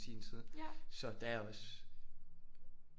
I sin tid så der er også